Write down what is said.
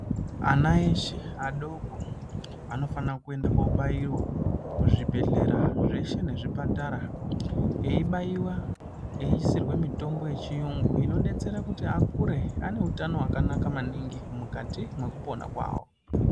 Ana eshe adoko anofanirwa kuenda kobayiwa kuzvibhedhlera zveshe nezvipatara eyibayiwa eyisirwe mitombo yechiyungu inobetsera kuti akure aine hutano hwakanaka maningi mukati mwekupona kwawo.